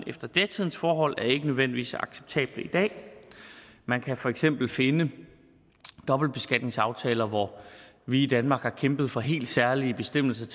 efter datidens forhold er ikke nødvendigvis acceptable i dag man kan for eksempel finde dobbeltbeskatningsaftaler hvor vi i danmark har kæmpet for helt særlige bestemmelser